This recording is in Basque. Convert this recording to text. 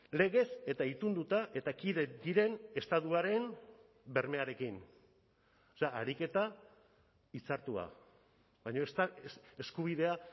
legez eta itunduta eta kide diren estatuaren bermearekin ariketa hitzartua baina eskubidea